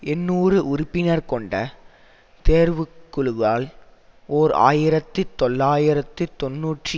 எண்ணூறு உறுப்பினர் கொண்ட தேர்வுக்குழுவால் ஓர் ஆயிரத்தி தொள்ளாயிரத்து தொன்னூற்றி